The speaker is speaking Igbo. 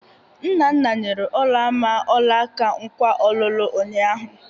Nnanna nyere Ọlamma ọlaka nkwa ọlụlụ ụnyaahụ.